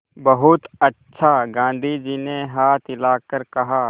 बहुत अच्छा गाँधी जी ने हाथ हिलाकर कहा